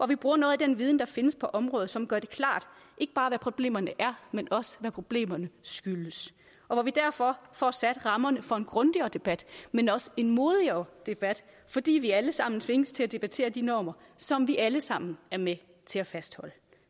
vi bruger noget af den viden som findes på området som gør det klart ikke bare hvad problemerne er men også hvad problemerne skyldes og hvor vi derfor får sat rammerne for en grundigere debat men også en modigere debat fordi vi alle sammen tvinges til at debattere de normer som vi alle sammen er med til at fastholde